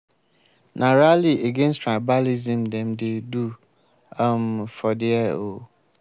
na rally against tribalism dem dey do um for there o.